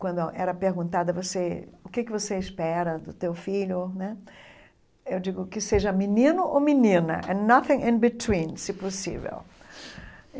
quando era perguntada você o que que você espera do seu filho né, eu digo que seja menino ou menina, se possível.